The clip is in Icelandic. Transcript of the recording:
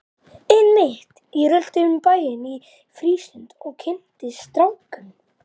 Einmitt, ég rölti um bæinn í frístundum og kynnist strákum!